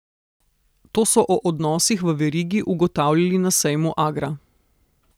To so o odnosih v verigi ugotavljali na sejmu Agra.